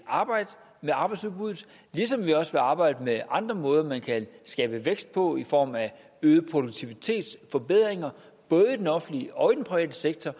arbejde med arbejdsudbuddet ligesom vi også vil arbejde med andre måder man kan skabe vækst på i form af produktivitetsforbedringer både i den offentlige og i den private sektor